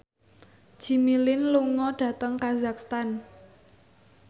Jimmy Lin lunga dhateng kazakhstan